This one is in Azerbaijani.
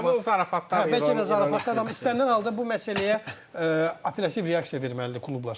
O zarafat hər bəlkə də zarafatdır, amma istənilən halda bu məsələyə operativ reaksiya verməlidir klublar.